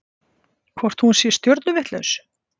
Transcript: Hvort hún sé stjörnuvitlaus?